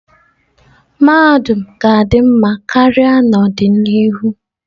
Mahadum ga-adị mma karịa n'ọdịnihu.